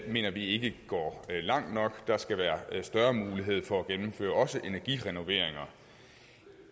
mener vi ikke går langt nok der skal være større mulighed for at gennemføre også energirenoveringer